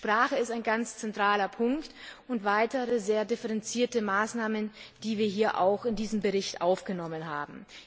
Die Sprache ist ein zentraler Punkt, ebenso wie weitere sehr differenzierte Maßnahmen, die wir hier auch in diesen Bericht aufgenommen haben.